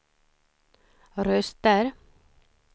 röster